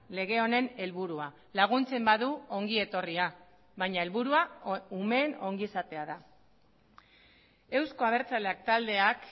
lege honen helburua laguntzen badu ongietorria baina helburua umeen ongizatea da euzko abertzaleak taldeak